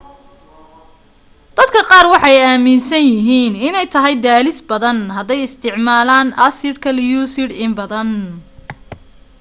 dadka qaar waxay aaminsanyihiin inay tahay daalis badan haday isticmaalaan assidka lucid in badan